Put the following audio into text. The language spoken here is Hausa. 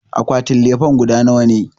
Akwatin lefen guda nawa ne?